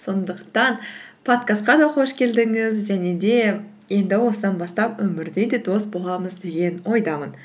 сондықтан подкастқа да қош келдіңіз және де енді осыдан бастап өмірде де дос боламыз деген ойдамын